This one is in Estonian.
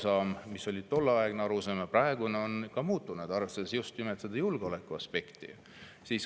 Ja võib-olla on tolleaegne arusaam ka muutunud, arvestades just nimelt julgeolekuaspekti.